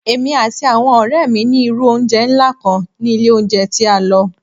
Emi ati awọn ọrẹ mi ni iru ounjẹ nla kan ni ile ounjẹ ti a lọ